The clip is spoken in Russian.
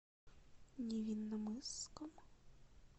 невинномысском